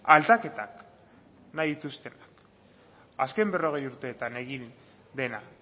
aldaketak nahi dituztenak azken berrogei urteetan egin dena